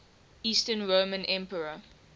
eastern roman emperor